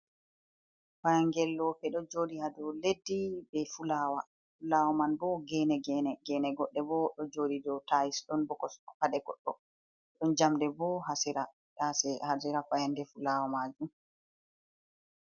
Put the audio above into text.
fayangel lope do jodi hado leddi ,be fulawa ,fulawa man bo gene gene ,gene godde bo do jodi dow tayis ,don bo kosde pade goddo ,don jamdi bo hasira fayande fulawa majum.